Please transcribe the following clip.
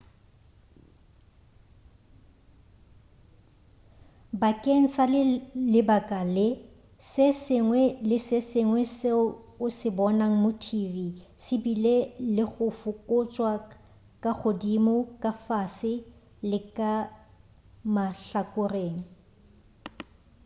bakeng sa lebaka le se sengwe le se sengwe seo o se bonago mo tv se bile le go fokotšwa ka godimo ka fase le ka mahlakoreng